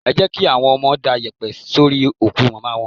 Ẹ jẹ́ kí àwọn ọmọ da yèpẹ̀ sórí òkú Màmá wọn.